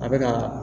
A bɛ ka